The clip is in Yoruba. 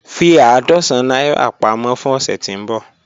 Fi àádọ́sán naira pamọ fun ọsẹ ti nbọ.